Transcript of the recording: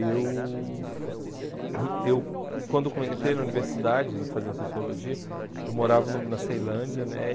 Eu, ãh eu quando come entrei na universidade, fazendo Sociologia, eu morava no na Ceilândia, né?